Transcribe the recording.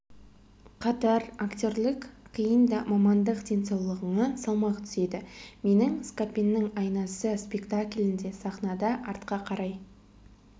қатар актерлік қиын да мамандық денсаулығыңа салмақ түседі менің скапеннің айласы спектаклінде сахнада артқа қарай